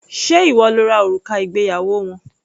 Ṣé ìwọ lo ra òrùka ìgbéyàwó wọn?